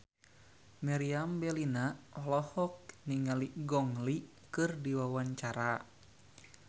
Meriam Bellina olohok ningali Gong Li keur diwawancara